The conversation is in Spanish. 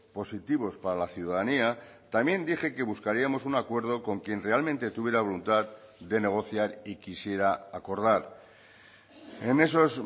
positivos para la ciudadanía también dije que buscaríamos un acuerdo con quien realmente tuviera voluntad de negociar y quisiera acordar en esos